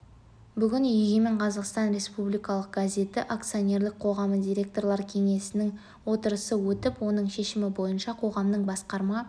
бүгін егемен қазақстан республикалық газеті акционерлік қоғамы директорлар кеңесінің отырысы өтіп оның шешімі бойынша қоғамның басқарма